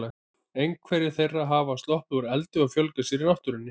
Einhverjar þeirra hafa sloppið úr eldi og fjölgað sér í náttúrunni.